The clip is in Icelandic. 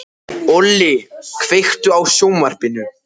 Olli, kveiktu á sjónvarpinu.